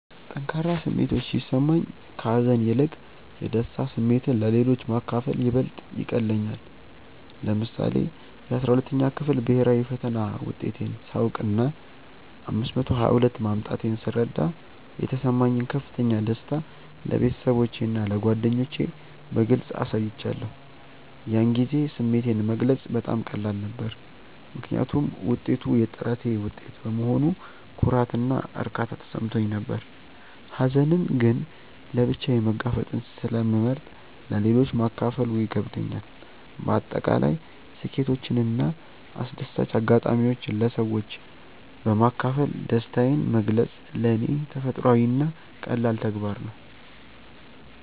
ጠንካራ ስሜቶች ሲሰማኝ፣ ከሀዘን ይልቅ የደስታ ስሜትን ለሌሎች ማካፈል ይበልጥ ይቀልለኛል። ለምሳሌ፣ የ12ኛ ክፍል ብሄራዊ ፈተና ውጤቴን ሳውቅና 522 ማምጣቴን ስረዳ የተሰማኝን ከፍተኛ ደስታ ለቤተሰቦቼና ለጓደኞቼ በግልጽ አሳይቻለሁ። ያን ጊዜ ስሜቴን መግለጽ በጣም ቀላል ነበር፤ ምክንያቱም ውጤቱ የጥረቴ ውጤት በመሆኑ ኩራትና እርካታ ተሰምቶኝ ነበር። ሀዘንን ግን ለብቻዬ መጋፈጥን ስለመርጥ ለሌሎች ማካፈሉ ይከብደኛል። በአጠቃላይ ስኬቶችንና አስደሳች አጋጣሚዎችን ለሰዎች በማካፈል ደስታዬን መግለጽ ለኔ ተፈጥሯዊና ቀላል ተግባር ነው።